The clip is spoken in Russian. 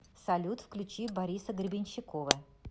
салют включи бориса гребенщикова